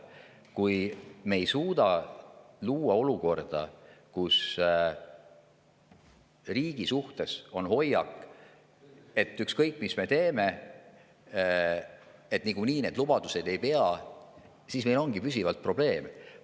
Kui me ei suuda luua olukorda, kus riigi suhtes on hoiak, et ükskõik mis me teeme, niikuinii need lubadused ei pea, siis meil ongi püsivalt probleem.